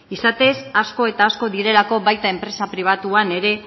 izatez asko eta asko direlako baita enpresa pribatuan ere